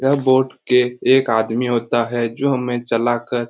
यह बॉट के एक आदमी होता है जो हमे चलाकर --